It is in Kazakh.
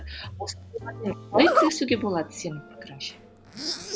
қалай күресуге болады сенің пікіріңше